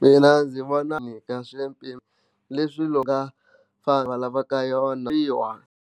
Mina ndzi vona nyika va ri hansi ka swipimelo leswi va nga lavaki swona.